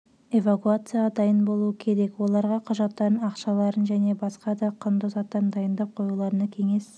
эвакуацияға дайын болуы керек оларға құжаттарын ақшаларын және басқа да құнды заттарын дайындап қоюларына кеңес